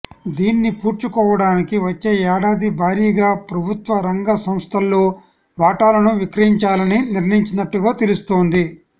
దీన్ని పూడ్చుకోవడానికి వచ్చే ఏడాది భారీగా ప్రభుత్వ రంగ సంస్థల్లో వాటాలను విక్రయించాలని నిర్ణయించినట్టుగా తెలుస్తోంది